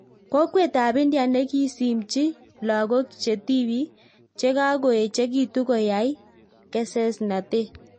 Kokwet ap India nekisimchiin lagok chetibik chekakoechegitu koyai kesesnatet